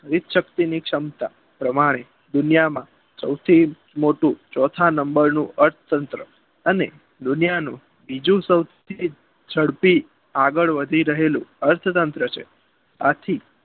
વિવિધ શક્તિની સમતા પ્રમાણે દુનિયામાં સોથી મોટું ચોથા નંબરનું અર્થતંત્ર અને દુનિયાનું બીજું સોથી જડપી આગળ વધી રહેલું અર્થતંત્ર છે આથી